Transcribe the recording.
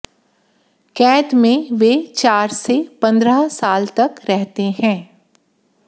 कैद में वे चार से पंद्रह साल तक रहते हैं